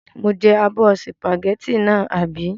Mo jẹ abọ́ sìpàgẹ́tì náà, àbí?